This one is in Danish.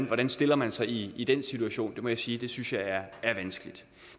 hvordan stiller man sig i i den situation det må jeg sige jeg synes er vanskeligt